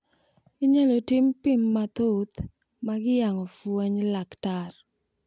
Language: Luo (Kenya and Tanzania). Inyalo tim pim mathoth mag yango fweny mar laktar.